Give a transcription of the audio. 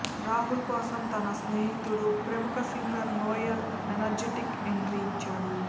రాహుల్ కోసం తన స్నేహితుడు ప్రముఖ సింగర్ నోయల్ ఎనర్జిటిక్ ఎంట్రీ ఇచ్చాడు